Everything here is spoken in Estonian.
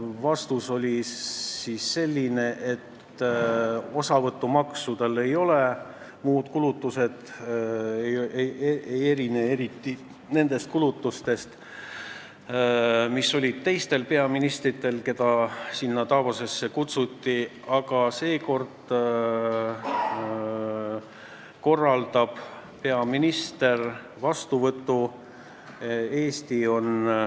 Vastus on selline, et osavõtumaksu tal ei ole ja muud kulutused ei erine eriti nendest kulutustest, mis on teistel peaministritel, keda on Davosi kutsutud, aga seekord korraldab peaminister vastuvõtu.